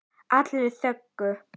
Allir þögðu.